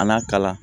An'a kalan